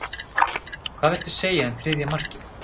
Hvað viltu segja um þriðja markið?